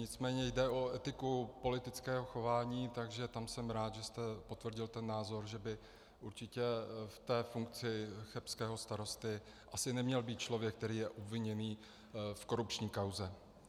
Nicméně jde o etiku politického chování, takže tam jsem rád, že jste potvrdil ten názor, že by určitě v té funkci chebského starosty asi neměl být člověk, který je obviněný v korupční kauze.